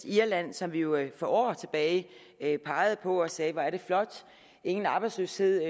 irland som vi jo for år tilbage pegede på mens vi sagde hvor er det flot ingen arbejdsløshed